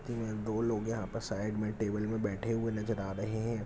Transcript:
दो लोग यहां पे साइड मे टेबल मे बैठे हुए नजर आ रहे है।